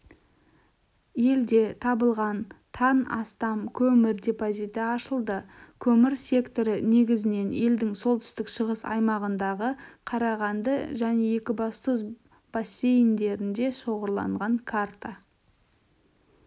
елде табылған тан астам көмір депозиті ашылды көмір секторы негізінен елдің солтүстік-шығыс аймағындағы қарағанды және екібастұз бассейндерінде шоғырланған карта